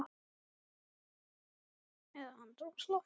Eða andrúmsloftið?